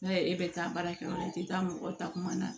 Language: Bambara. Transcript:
N'a ye e bɛ taa baara kɛ yɔrɔ la i tɛ taa mɔgɔ ta kuma na